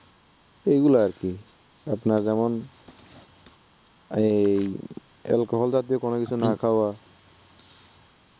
এগুলা আর কি আপনার যেমন এই alcohol জাতীয় কোনো কিছু না খাওয়া, হুম